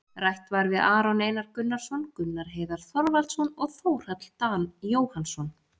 Rætt var við Aron Einar Gunnarsson, Gunnar Heiðar Þorvaldsson og Þórhall Dan Jóhannsson,